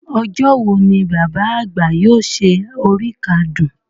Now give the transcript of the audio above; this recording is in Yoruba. Ọjọ́ wo ni Bàbá àgbà yóò ṣe oríkádún?